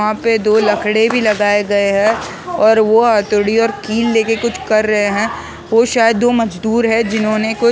वहाँ पे दो लकड़े भी लगाए गए है और वो हथौड़ी और कील लेके कुछ कर रहे है वो शायद दो मजदूर है जिन्होंने कुछ--